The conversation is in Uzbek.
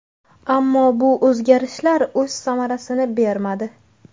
Ammo bu o‘zgarishlar o‘z samarasini bermadi.